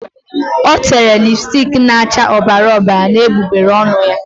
O tere lipstiki na-acha ọbara ọbara n'egbugbere ọnụ ya.